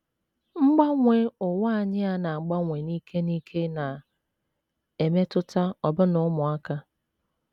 Mgbanwe ụwa anyị a na - agbanwe n’ike n’ike na - emetụta ọbụna ụmụaka.